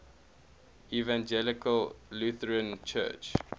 evangelical lutheran church